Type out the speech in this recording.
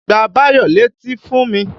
Gbá Báyọ̀ létí fún mi!